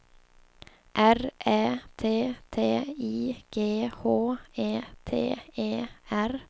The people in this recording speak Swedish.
R Ä T T I G H E T E R